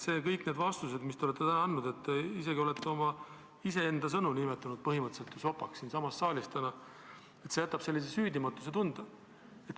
Kõik need vastused, mis te olete täna andnud – te olete isegi iseenda sõnu nimetanud põhimõtteliselt ju siinsamas saalis sopaks –, jätavad sellise süüdimatuse tunde.